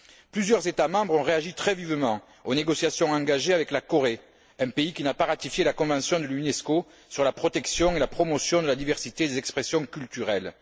Plusieurs États membres ont réagi très vivement aux négociations engagées avec la Corée, un pays qui n'a pas ratifié la convention de l'Unesco sur la protection et la promotion de la diversité des expressions culturelles.